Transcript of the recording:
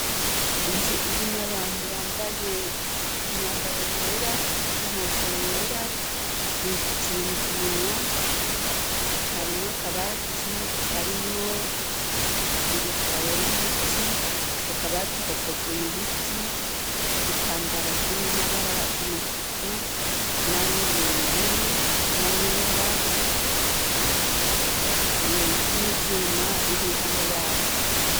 Inzu irimwe abantu bambaye imyambaro yera n'inkofero yera bifutse ibintu ku munwa harimwa kabati karimwo ibitabo n'imiti ku kabati gakozwe mu biti igitambara kimwe amabara y'umutuku na y'ubururu na yera n'ibyuma biri ruhanda yabo.